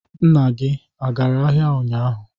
Nna gị agara ahịa ụnyaahụ?